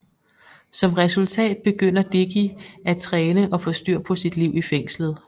Som resultat begynder Dicky at træne og få styr på sit liv i fængslet